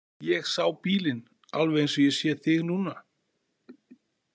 Ég sá bílinn, alveg eins og ég sé þig núna.